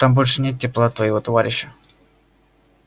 там больше нет тепла твоего товарища